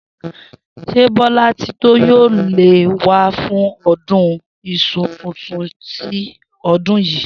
S̩é Bó̩látitó yóò lè wá fún o̩dún is̩u tuntun ti o̩dún yìí?